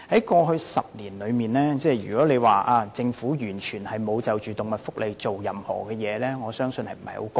過去10年，如果說政府完全沒有就動物福利做任何事，我相信不太公道。